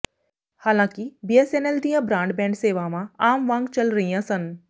ਹਾਲਾਂਕਿ ਬੀਐਸਐਨਐਲ ਦੀਆਂ ਬਰਾਡਬੈਂਡ ਸੇਵਾਵਾਂ ਆਮ ਵਾਂਗ ਚੱਲ ਰਹੀਆਂ ਸਨ